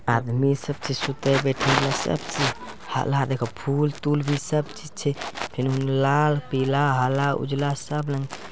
आदमी सब छे सुते बेठेल सब ची । हला देखो फूल-तूल भी सब चीज छे। फिनु हुने लाल पीला हला उजला सब लंग --